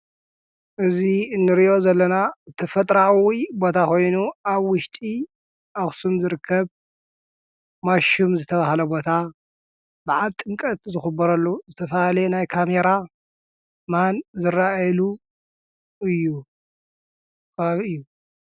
እዙ እንርዮ ዘለና እትፈጥራዓዊ ቦታ ኾይኑ ኣ ዊሽጢ ኣኽስም ዝርከብ ማሹም ዝተብሃለ ቦታ ብዓል ጥንቀት ዘኽበረሉ ዘተፋሃሌ ናይ ካሜራ ማን ዘራኤሉ እዩብእዩ።